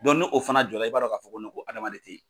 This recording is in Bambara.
Dɔn no o fana jɔ la i b'a dɔn k'a fɔ ko hadamaden tɛ ye.